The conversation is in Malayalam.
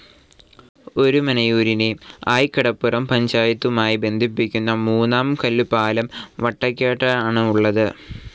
ഒരുമനയൂരിനെ, ആയികടപ്പുറം പഞ്ചായത്തുമായി ബന്ധിപ്പിക്കുന്ന മൂന്നാം കല്ലു പാലം വട്ടെക്കാടാണ് ഉള്ളത്.